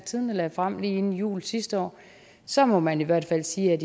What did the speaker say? tidende lagde frem lige inden jul sidste år så må man i hvert fald sige at